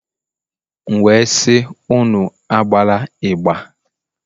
M wee sị, Unu agbala ịgbà